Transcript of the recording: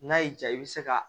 N'a y'i jaa i bɛ se ka